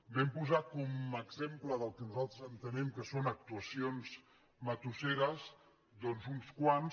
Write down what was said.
vam posar com a exem·ple del que nosaltres entenem que són actuacions ma·tusseres doncs uns quants